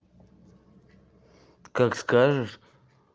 как скажешь